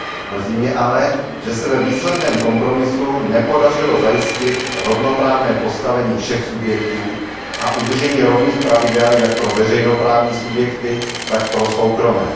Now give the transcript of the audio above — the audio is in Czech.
Mrzí mě ale, že se ve výsledném kompromisu nepodařilo zajistit rovnoprávné postavení všech subjektů a udržení rovných pravidel jak pro veřejnoprávní subjekty, tak pro soukromé.